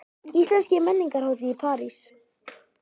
Íslensk menningarhátíð í París